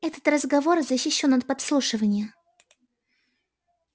этот разговор защищён от подслушивания